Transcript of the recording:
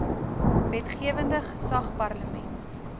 wetgewende gesag parlement